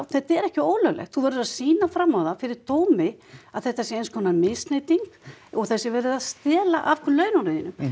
þetta er ekki ólöglegt þú verður að sýna fram á það fyrir dómi að þetta sé eins konar misneyting og það sé verið að stela af laununum þínum